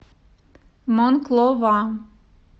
монклова